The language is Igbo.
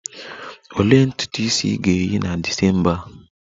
Olee ntutu isi ị ga-eyi na December a?